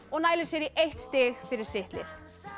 og nælir sér í eitt stig fyrir sitt lið